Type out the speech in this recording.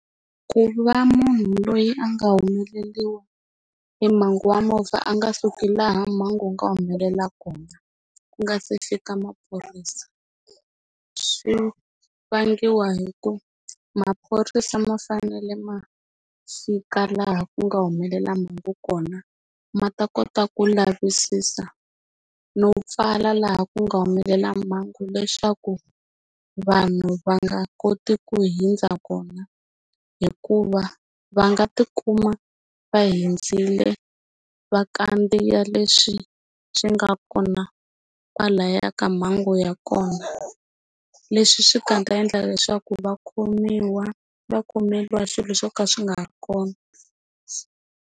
Ku va munhu loyi a nga humeleriwa hi mhangu wa movha a nga suki laha mhangu yi nga humelela kona ku nga se fika maphorisa swi vangiwa hi ku maphorisa ma fanele ma fika laha ku nga humelela mhangu kona ma ta kota ku lavisisa no pfala laha ku nga humelela mhangu leswaku vanhu va nga koti ku hundza kona hikuva va nga tikuma va hundzile va kandziya leswi swi nga kona kwalaya ka mhangu ya kona leswi swi nga ta endla leswaku va khomiwa va khomeriwa swilo swo ka swi nga ri kona.